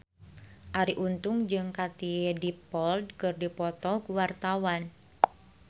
Arie Untung jeung Katie Dippold keur dipoto ku wartawan